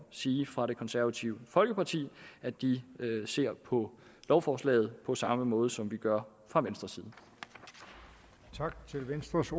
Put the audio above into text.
sige fra det konservative folkeparti at de ser på lovforslaget på samme måde som vi gør fra venstres venstres